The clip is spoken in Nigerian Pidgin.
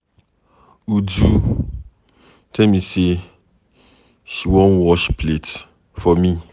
Uju tell me say she one wash plate for me.